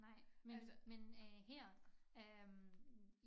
Nej men men øh her øh